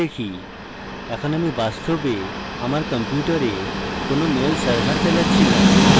এখন আমি বাস্তবে আমার কম্পিউটারে কোনো mail server চালাচ্ছি now